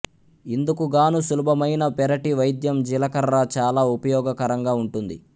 ఇందుకుగాను సులభమైన పెరటి వైద్యం జీలకర్ర చాలా ఉపయోగకరంగా ఉంటుంది